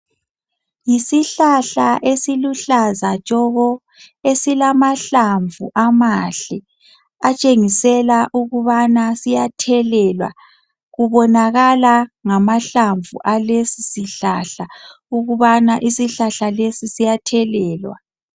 Yisihlahla esiluhlaza tshoko! Esilamahlamvu amahle. Atshengisela ukubana siyathelelwa. Kubonakala ngamahlamvu alesisihlahla, ukubana isihlahla lesi, siyathelelwa.